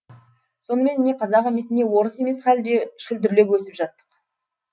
сонымен не қазақ емес не орыс емес халде шүлдірлеп өсіп жаттық